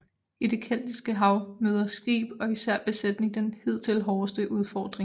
I det Keltiske hav møder skib og især besætning den hidtil hårdeste udfordring